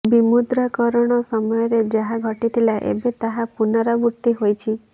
ବିମୁଦ୍ରାକରଣ ସମୟରେ ଯାହା ଘଟିଥିଲା ଏବେ ତାହା ପୁନରାବୃତ୍ତି ହୋଇଛି